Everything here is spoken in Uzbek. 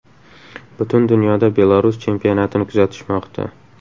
Butun dunyoda Belarus chempionatini kuzatishmoqda.